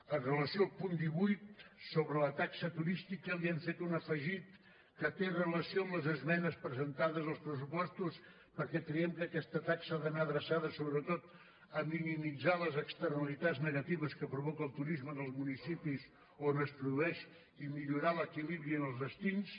amb relació al punt divuit sobre la taxa turística li hem fet un afegit que té relació amb les esmenes presentades als pressupostos perquè creiem que aquesta taxa ha d’anar adreçada sobretot a minimitzar les externalitats negatives que provoca el turisme en els municipis on es produeix i millorar l’equilibri en els destins